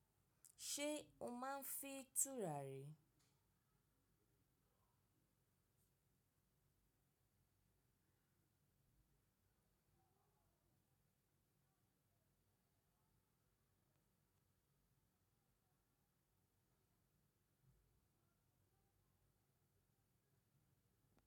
Ṣé o máa ń fín tùràrí?